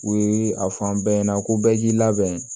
U ye a fɔ an bɛɛ ɲɛna ko bɛɛ k'i labɛn